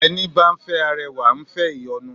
Ẹní bá ń fẹ́ arẹwà, ǹ fẹ́ ìyọnu